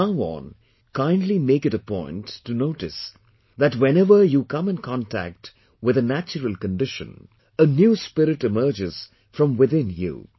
Now on, kindly make it a point to notice that whenever you come in contact with a natural condition , a new spirit emerges from within you